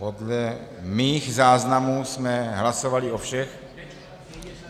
Podle mých záznamů jsme hlasovali o všech...